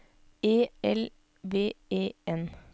E L V E N